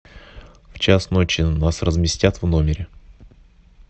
в час ночи нас разместят в номере